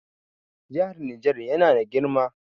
Jihar Niger yana na girma.